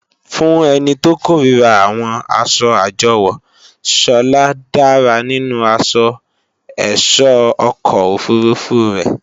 Fún ẹni tó kòríra àwọn asọ àjọwò, Sọlá dára nínú asọ ẹ̀sọ́ ọkọ̀ òfurufú rẹ̀